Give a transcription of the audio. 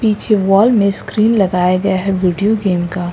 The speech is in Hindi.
पीछे वॉल में स्क्रीन लगाया गया है वीडियो गेम का।